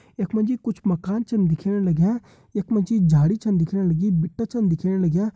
इखमा जी कुछ मकान छन दिखेण लग्यां इखमा जी झाड़ी छन दिखेण लगी बिट्ठा छन दिखेण लग्या।